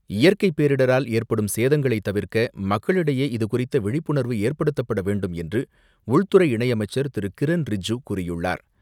இயற்கை பேரிடரால் ஏற்படும் சேதங்களை தவிர்க்க மக்களிடையே இதுகுறித்த விழிப்புணர்வு ஏற்படுத்தப்பட வேண்டும் என்று உள்துறை இணையமைச்சர் திரு கிரண் ரிஜிஜு கூறியுள்ளார்.